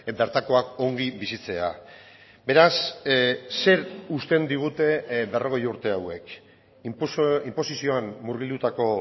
bertakoak ongi bizitzea beraz zer uzten digute berrogei urte hauek inposizioan murgildutako